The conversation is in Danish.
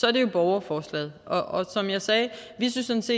er det jo borgerforslaget og som jeg sagde vi synes